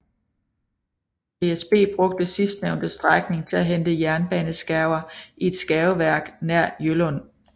DSB brugte sidstnævnte strækning til at hente jernbaneskærver i et skærveværk nær Hjøllund